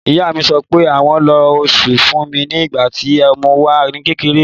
Ìyá mi sọ pé àwọn lo osùn fúnmi ní ìgbà tí mo wà ní kékeré.